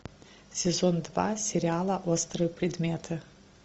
сезон два сериала острые предметы